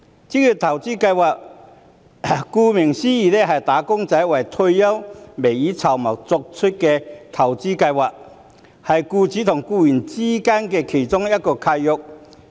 職業投資計劃，顧名思義就是"打工仔"為退休未雨綢繆而作出的投資計劃，是僱主與僱員間的契約。